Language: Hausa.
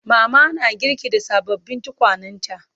Mama na girki da sababbin tukwanenta.